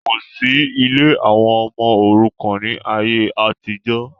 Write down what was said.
Kosi ilé àwọn ọmọ òrukàn ni ayé àtijọ́.